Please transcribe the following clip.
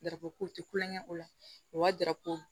Darako te kulonkɛ o la o ka di